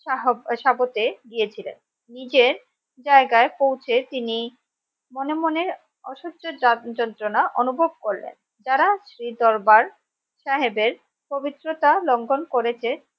শাহ সাপথে দিয়ে ছিলেন নিজের জায়গায় পৌঁছে তিনি মনে মনে অসহ্যের জাগ্ যন্ত্রনা অনুভব করলেন যারা শ্রী দরবার সাহেবের পবিত্রতা লঙ্ঘন করেছে